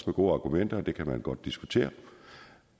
gode argumenter det kan man godt diskutere